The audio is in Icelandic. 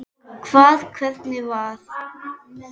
Og hvað, hvernig var?